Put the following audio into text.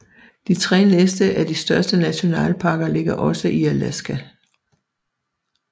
De tre næste af de største nationalparker ligger også i Alaska